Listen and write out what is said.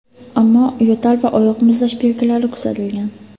Ammo yo‘tal va oyoq muzlash belgilari kuzatilgan.